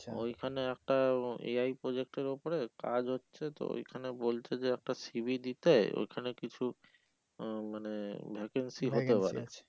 ওইখানে একটা A. I. project এর উপরে কাজ হচ্ছে তো ওইখানে বলছে যে একটা c. v. দিতে ওইখানে কিছু আহ মানে vacancy হতে পারে